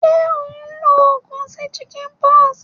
Sé o n lo ogùn sí chickenpox?